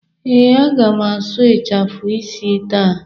Ee, aga m asụ ịchafụ isi taa.